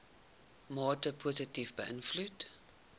mate positief beïnvloed